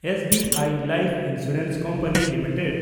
SBI life insurance company limited